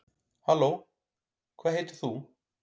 halló hvað heitir þú